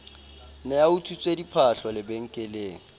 ne a utswitse diphahlo lebenkeleng